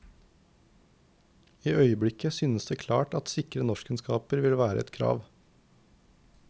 I øyeblikket synes det klart at sikre norskkunnskaper vil være et krav.